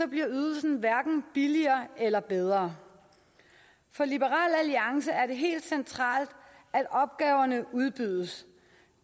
bliver ydelsen hverken billigere eller bedre for liberal alliance er det helt centralt at opgaverne udbydes